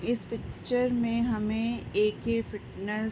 इस पिक्चर में हमें ए.के फिटनेस --